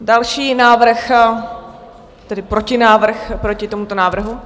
Další návrh, tedy protinávrh proti tomuto návrhu?